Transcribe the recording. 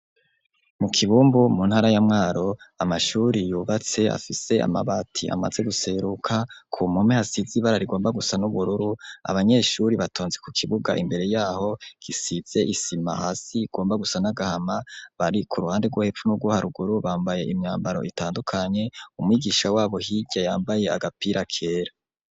Mu kibumbu mu ntara ya mwaro amashuri yubatse afise amabati amaze guseruka ku mpome hasize ibara rigomba gusa n'ubururu abanyeshure batonze ku kibuga imbere yaho gisize isima hasi igomba gusa n'agahama bari ku ruhande rwo hepfo na ruguru bambaye imyambaro itandukanye umwigisha wabo hirya yambaye agapira kera.